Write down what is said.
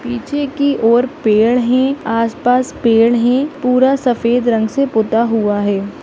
पीछे की ओर पेड़ है आसपास पेड़ है पूरा सफेद रंग से पुता हुआ है।